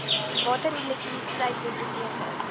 water elektrisiteit biblioteke